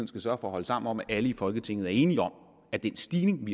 skal sørge for at holde sammen om at alle i folketinget er enige om at den stigning